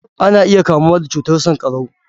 Ana iya kamuwa da cutar sankarau.